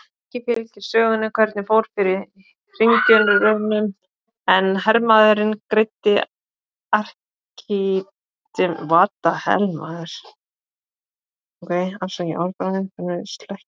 Ekki fylgir sögunni hvernig fór fyrir hringjunum en hermaðurinn greiddi Arkímedesi banahögg.